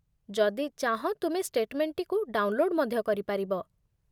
ଯଦି ଚାହଁ, ତୁମେ ଷ୍ଟେଟମେଣ୍ଟଟିକୁ ଡାଉନଲୋଡ ମଧ୍ୟ କରିପାରିବ